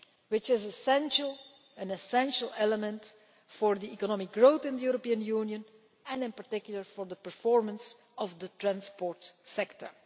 which is an essential element for economic growth in the European Union and, in particular, for the performance of the transport sector.